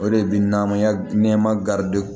O de bi na maya nɛma